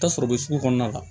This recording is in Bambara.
Tasɔrɔ u bɛ sugu kɔnɔna la